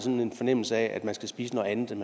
har en fornemmelse af at man skal spise noget andet end